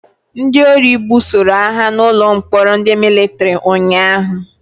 Ndị ori gbusoroagha na ụlọ mkpọrọ ndị Mịlịtrị ụnyaahụ